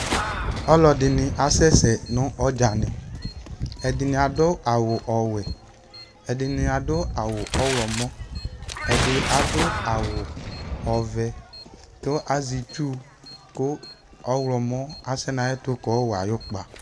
Ɔlɔdini asɛsɛ nu ɔdzani Ɛdini adu awu ɔwɛ, ɛdini adu awu ɔwlɔmɔn, ɛdi adu awu ɔʋɛ ku azi itchu ku ɔwlɔmɔ asɛ na ayɛtu kayɔwa ayu kpa